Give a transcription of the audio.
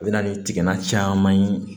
A bɛ na ni tigala caman ye